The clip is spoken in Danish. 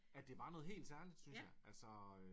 Ja det var noget helt særligt synes jeg